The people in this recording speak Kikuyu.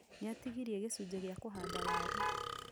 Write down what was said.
Nĩatigirie gĩcunjĩ gĩa kũhanda waaru